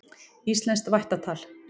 Íslenskt vættatal.